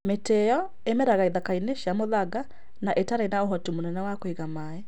Mĩtĩ ĩyo ĩĩmeraga ithaka-inĩ cia mũthanga na itarĩ na ũhoti mũnene wa kũiga maaĩ.